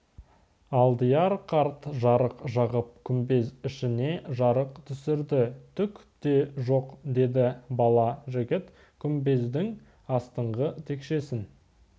алдияр қарт жарық жағып күмбез ішіне жарық түсірді түк те жоқ деді бала жігіт күмбездің астыңғы текшесін